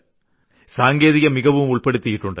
സാങ്കേതികമികവും ഉൾപ്പെടുത്തിയിട്ടുണ്ട്